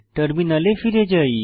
টার্মিনালে ফিরে যাই